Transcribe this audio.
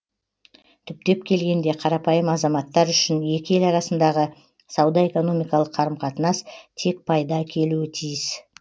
түптеп келгенде қарапайым азаматтар үшін екі ел арасындағы сауда экономикалық қарым қатынас тек пайда әкелуі тиіс